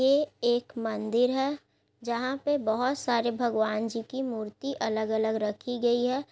ये एक मंदिर है । जहाँ पे बहुत सारे भगवान जी की मूर्ति अलग-अलग रखी गई है ।